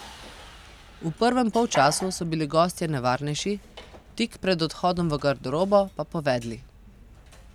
V prvem polčasu so bili gostje nevarnejši, tik pred odhodom v garderobo pa povedli.